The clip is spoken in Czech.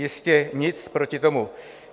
Jistě, nic proti tomu.